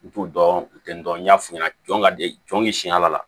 N t'u dɔn u tɛ n dɔn n y'a f'i ɲɛna jɔn ka di jɔn ye siɲɛ la